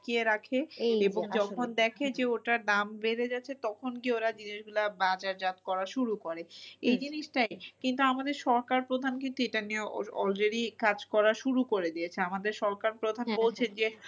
রাখে এবং যখন দেখে যে ওটার দাম বেড়ে যাচ্ছে তখন কি ওরা জিনিস গুলো বাজার জাত করা শুরু করে। এই জিনিসটা কিন্তু আমাদের সরকার প্রধান কিন্তু এটা নিয়ে already কাজ করা শুরু করে দিয়েছে। আমাদের সরকার প্রধান বলছে যে